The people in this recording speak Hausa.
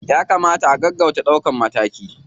Ya kamata a gaggauta ɗaukan mataki.